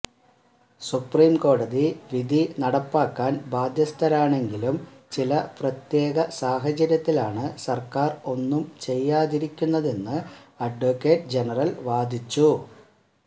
സുപ്രീംകോടതി വിധി നടപ്പാക്കാന് ബാധ്യസ്ഥരാണെങ്കിലും ചില പ്രത്യേക സാഹചര്യത്തിലാണ് സര്ക്കാര് ഒന്നും ചെയ്യാതിരിക്കുന്നതെന്ന് അഡ്വക്കറ്റ് ജനറല് വാദിച്ചു